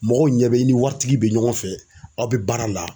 Mɔgɔw ɲɛ bɛ i ni waritigi bɛ ɲɔgɔn fɛ aw bɛ baara la.